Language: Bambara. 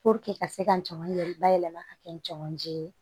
ka se ka jama yɛrɛ bayɛlɛma ka kɛ jamanjan ye